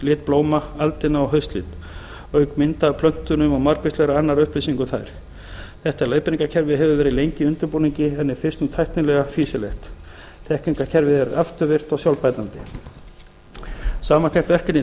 lit blóma aldina og haustlit auk mynda af plöntunum og margvíslegra annarra upplýsinga um þær þetta leiðbeiningarkerfi hefur verið lengi í undirbúningi en er fyrst nú tæknilega fýsilegt þekkingarkerfið er afturvirkt og sjálfbætandi samantekt verkefni